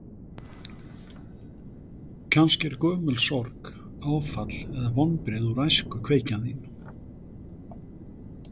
Kannski er gömul sorg, áfall eða vonbrigði úr æsku kveikjan þín?